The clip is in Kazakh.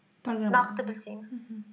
мхм нақты білсеңіз